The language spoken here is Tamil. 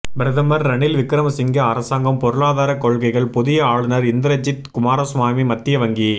பிரதமர் ரணில் விக்கிரமசிங்க அரசாங்கம் பொருளாதாரக் கொள்கைகள் புதிய ஆளுநர் இந்திரஜித் குமாரசுவாமி மத்திய வங்கி